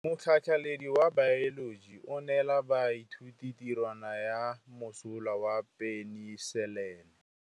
Motlhatlhaledi wa baeloji o neela baithuti tirwana ya mosola wa peniselene.